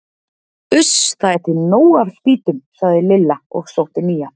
Uss, það er til nóg af spýtum sagði Lilla og sótti nýja.